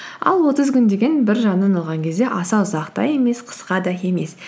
ал отыз күн деген бір жағынан алған кезде аса ұзақ та емес қысқа да емес